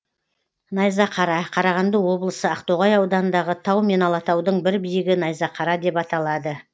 найзақара қарағанды облысы ақтоғай ауданындағы тау мен алатаудың бір биігі найзақара деп аталады